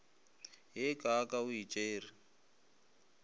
ye kaaka o e tšere